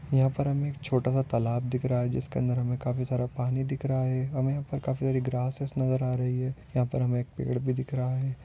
यहाँ पर हमे एक छोटासा तालाब दिख रहा है जिसके अंदर हमे काफी सारा पानी दिख रहा है हमे ऊपर काफी सारी ग्रासेस नजर आ रही है यहाँ पर हमे एक पेड़ भी दिख रहा है।